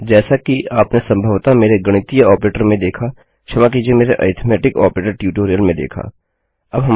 जैसा कि आपने संभवतः मेरे गणितीय ऑपरेटर में देखा क्षमा कीजिये मेरे अरिथमेटिक ऑपरेटर ट्यूटोरियल में देखा